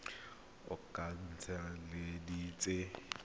tse di oketsegileng tse di